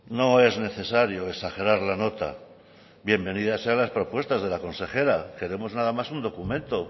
no es necesario exagerar la nota bienvenidas sean las propuestas de la consejera queremos nada más un documento